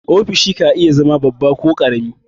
Ofishi ka iya zama babba ko ƙarami.